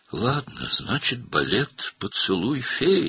Yaxşı, demək, "Pəri öpüşü" baleti.